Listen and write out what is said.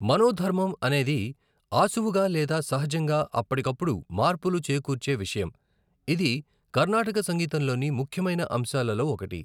మనోధర్మం అనేది ఆశువుగా లేదా సహజంగా అప్పటికప్పుడు మార్పులు చేకూర్చే విషయం, ఇది కర్ణాటక సంగీతంలోని ముఖ్యమైన అంశాలలో ఒకటి.